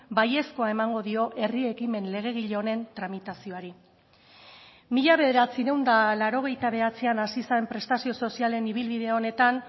baiezkoa emango dio herri ekimen legegile honen tramitazioari mila bederatziehun eta laurogeita bederatzian hasi zen prestazio sozialen ibilbide honetan